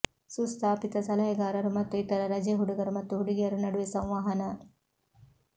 ಸುಸ್ಥಾಪಿತ ಸಲಹೆಗಾರರು ಮತ್ತು ಇತರ ರಜೆ ಹುಡುಗರು ಮತ್ತು ಹುಡುಗಿಯರು ನಡುವೆ ಸಂವಹನ